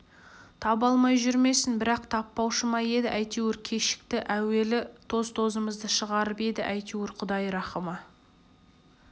таба алмай жүрмесін бірақ таппаушы ма еді әйтеуір кешікті әуелі тоз-тозымызды шығарып еді әйтеуір құдай рахымы